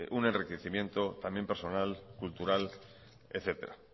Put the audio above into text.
un enriquecimiento también personal cultural etcétera